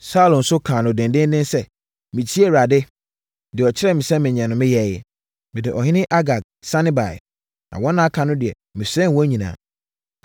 Saulo nso kaa no dendeenden sɛ, “Metiee Awurade. Deɛ ɔkyerɛɛ me sɛ menyɛ no, meyɛeɛ. Mede ɔhene Agag sane baeɛ. Na wɔn a aka no deɛ, mesɛee wɔn nyinaa.